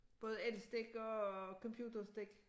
Både elstik og computerstik